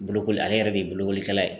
Bolokoli ,ale yɛrɛ de ye bolokolikɛla ye.